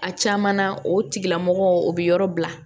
A caman na o tigilamɔgɔ o bɛ yɔrɔ bila